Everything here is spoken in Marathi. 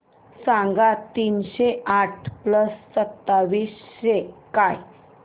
सांगा तीनशे आठ प्लस सत्तावीस काय